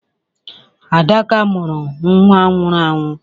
Adaka mụrụ nwa nwụrụ anwụ.